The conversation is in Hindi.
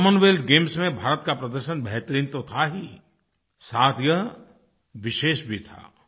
कॉमनवेल्थ गेम्स में भारत का प्रदर्शन बेहतरीन तो था ही साथ ही यह विशेष भी था